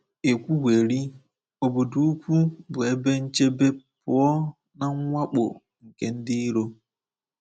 E kwuwerị, obodo ukwu bụ ebe nchebe pụọ na mwakpo nke ndị iro.